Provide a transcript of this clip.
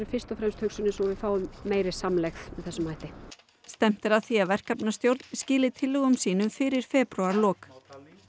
fyrst og fremst sú að við fáum meiri samlegð með þessum hætti stefnt er að því að verkefnastjórn skili tillögum sínum fyrir febrúarlok